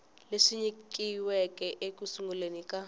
leswi nyikiweke eku sunguleni ka